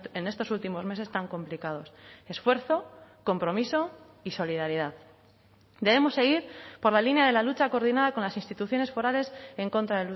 en estos últimos meses tan complicados esfuerzo compromiso y solidaridad debemos ir por la línea de la lucha coordinada con las instituciones forales en contra